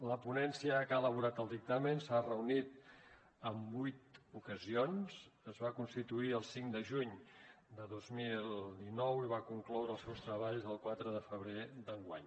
la ponència que ha elaborat el dictamen s’ha reunit en vuit ocasions es va constituir el cinc de juny de dos mil dinou i va concloure els seus treballs el quatre de febrer d’enguany